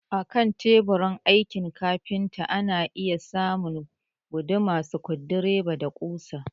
Akan teburin aikin kafinta ana iya samun guduma, sukudireba, da ƙusa